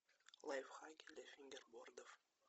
лайфхаки для фингербордов